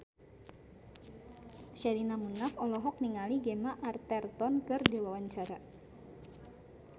Sherina Munaf olohok ningali Gemma Arterton keur diwawancara